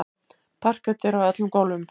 Parket er á öllum gólfum.